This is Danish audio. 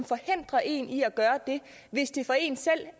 forhindrer en i at gøre det hvis det for en selv